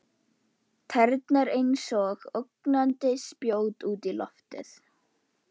Tærnar einsog ógnandi spjót út í loftið.